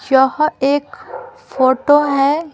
यह एक फोटो है।